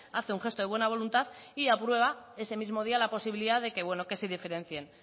hace un gesto de buena voluntad y aprueba ese mismo día la posibilidad de que bueno que se diferencien